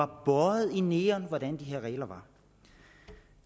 bøjet i neon hvordan reglerne er